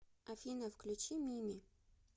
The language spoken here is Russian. афина включи мими